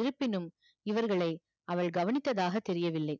இருப்பினும் இவர்களை அவள் கவனித்ததாக தெரியவில்லை